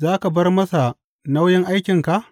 Za ka bar masa nauyin aikinka?